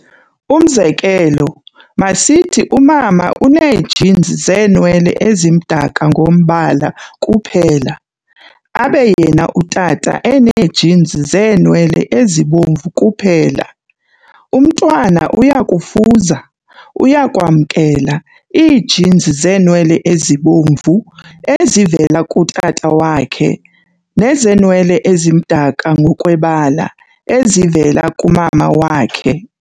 Umzekelo, masithi umama unee-genes zeenwele ezimdaka ngombala kuphela, abe yena utata enee-genes zeenwele ezibomvu kuphela. Umntwana uyakufuza - uyakwamkela - ii-genes zeenwele ezibomvu, ezivela kutata wakhe, nezenwele ezimdaka ngokwebala, ezivela kumama wakhe.